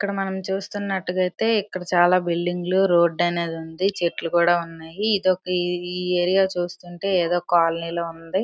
ఇక్కడ మనం చూస్తున్నట్టుగా అయితే ఇక్కడ చాలా బిల్డింగ్ లో రోడ్డు అనేది ఉంది చెట్లు కూడా ఉన్నాయి ఇది ఏదో ఒక ఏరియా చూస్తుంటే ఏదో కాలనీ లాగా ఉంది.